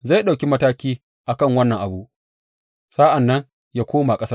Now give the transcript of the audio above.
Zai ɗauki mataki a kan wannan abu sa’an nan yă koma ƙasarsa.